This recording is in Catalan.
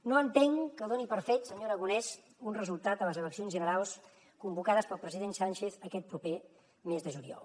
no entenc que doni per fet senyor aragonès un resultat a les eleccions generals convocades pel president sánchez aquest proper mes de juliol